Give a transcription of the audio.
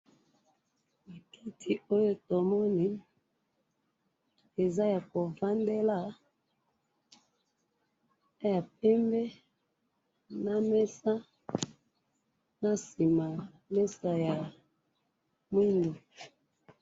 Bakiti oyo tomoni eza yakovandela, eza ya pembe na mesa, nasima mesa ya mwidu.